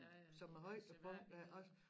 Ja ja seværdigheder